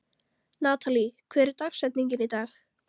Natalí, hver er dagsetningin í dag?